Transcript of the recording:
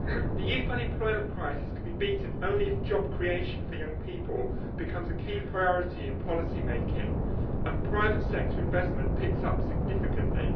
The youth unemployment crisis can be beaten only if job creation for young people becomes a key priority in policymaking and private sector investment picks up significantly.